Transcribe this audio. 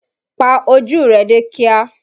Pa ojú rẹ dé kíá!